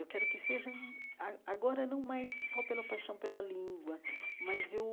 Eu quero que seja hum a agora não mais só pela paixão pela língua, mas eu